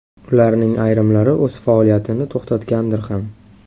Ularning ayrimlari o‘z faoliyatini to‘xtatgandir ham.